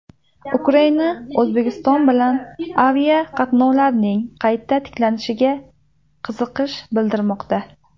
Ukraina O‘zbekiston bilan aviaqatnovlarning qayta tiklanishiga qiziqish bildirmoqda.